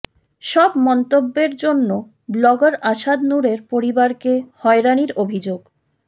সব মন্তব্যের জন্য ব্লগার আসাদ নূরের পরিবারকে হয়রানির অভিযোগ